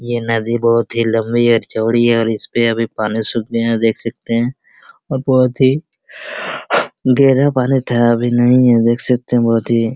ये नदी बहुत ही लंबी और चौड़ी है और इस पे अभी पानी सूख गया देख सकते हैं और बहुत ही गहरा पानी था अभी नहीं है देख सकते हैं बहुत ही --